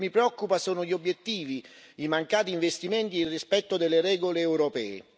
Quello che mi preoccupa sono gli obiettivi, i mancati investimenti e il rispetto delle regole europee.